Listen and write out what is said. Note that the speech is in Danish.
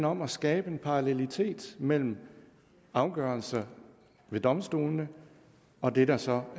om at skabe en parallelitet mellem afgørelser ved domstolene og det der så